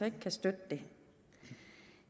ikke kan støtte det